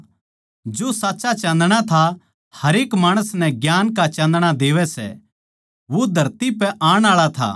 जो साच्चा चाँदणा था हरेक माणस नै ज्ञान का चाँदणै देवै सै वो धरती पै आण आळा था